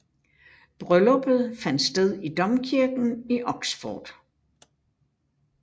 Brylluppet fandt sted i domkirken i Oxford